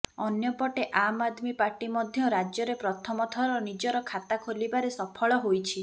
ଅନ୍ୟପଟେ ଆମ୍ ଆଦମୀ ପାର୍ଟି ମଧ୍ୟ ରାଜ୍ୟରେ ପ୍ରଥମ ଥର ନିଜର ଖାତା ଖୋଲିବାରେ ସଫଳ ହୋଇଛି